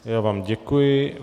Já vám děkuji.